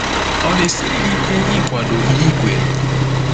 Ọ na-esiri gị ike ịkwado ihe i kweere?